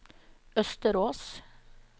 Østerås